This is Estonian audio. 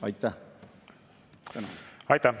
Aitäh!